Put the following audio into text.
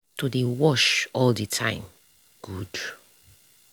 to dey wash all the time good.